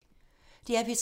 DR P3